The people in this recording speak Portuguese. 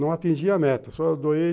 Não atingi a meta, só doei.